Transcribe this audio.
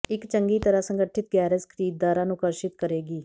ਇੱਕ ਚੰਗੀ ਤਰ੍ਹਾਂ ਸੰਗਠਿਤ ਗੈਰੇਜ ਖਰੀਦਦਾਰਾਂ ਨੂੰ ਆਕਰਸ਼ਿਤ ਕਰੇਗੀ